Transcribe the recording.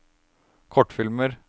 kortfilmer